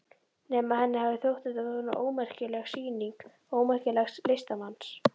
Nema henni hafi þótt þetta svona ómerkileg sýning, ómerkilegs listamanns.